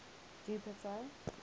jupiter